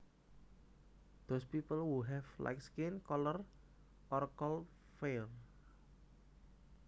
Those people who have light skin color are called fair